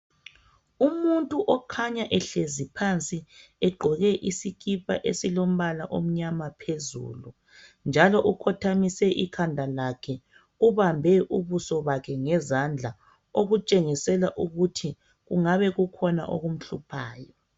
umuntu okhanya ehlezi phansi egqoke isikipa esilombala omnyama phezulu njalo ukhothamise ikhanda lakhe ubambe ubuso bakhe ngezandla okutshengisela ukuthi kungabe kukhona okumhluphayo